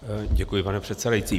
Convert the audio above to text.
Děkuji, pane předsedající.